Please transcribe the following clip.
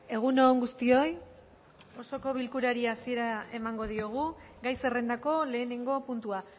egun on guztioi osoko bilkurari hasiera emango diogu gai zerrendako lehenengo puntua